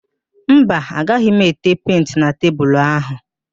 Mba, agaghị m ete penti na tebulu áhụ̀